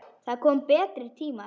Það koma betri tímar.